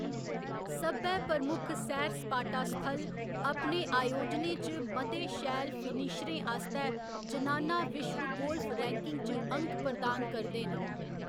सब्भै प्रमुक्ख सैर सपाटा स्थल अपने आयोजनें च मते शैल फिनिशरें आस्तै जनाना विश्व गोल्फ रैंकिंग च अंक प्रदान करदे न।